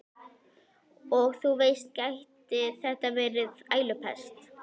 Og þú veist, gæti þetta verið ælupest?